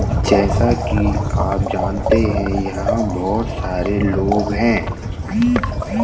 जैसा कि आप जानते हैं यहां बहुत सारे लोग हैं ।